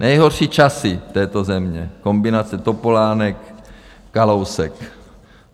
Nejhorší časy této země, kombinace Topolánek - Kalousek.